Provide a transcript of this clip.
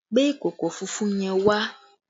Gbé ìkòkò funfun yẹn wá!